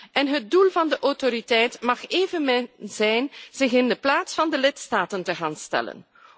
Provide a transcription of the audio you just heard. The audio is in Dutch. En het doel van de autoriteit mag evenmin zijn zich in de plaats van de lidstaten te gaan stellen.